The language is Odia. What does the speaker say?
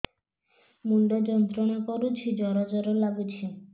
ମୁଣ୍ଡ ଯନ୍ତ୍ରଣା କରୁଛି ଜର ଜର ଲାଗୁଛି